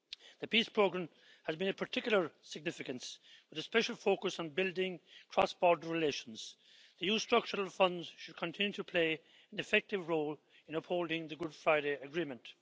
The PEACE Programme has been of particular significance, with a special focus on building cross border relations. The EU Structural Funds should continue to play an effective role in upholding the Good Friday Agreement.